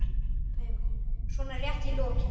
svona rétt í lokin.